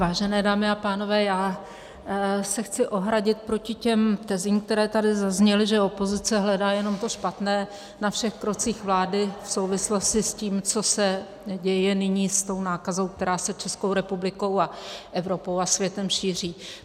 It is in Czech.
Vážené dámy a pánové, já se chci ohradit proti těm tezím, které tady zazněly, že opozice hledá jenom to špatné na všech krocích vlády v souvislosti s tím, co se děje nyní s tou nákazou, která se Českou republikou a Evropou a světem šíří.